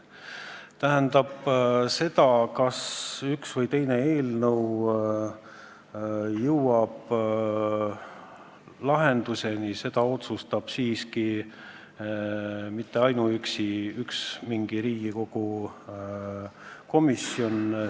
Tähendab, seda, kas üks või teine eelnõu jõuab ühe või teise lahenduseni, ei otsusta siiski ainuüksi mingi Riigikogu komisjon.